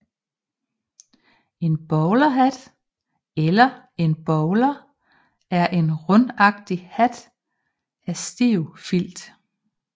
En bowlerhat eller en bowler er en rundagtig hat af stiv filt